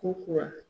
Ko kura